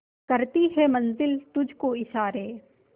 करती है मंजिल तुझ को इशारे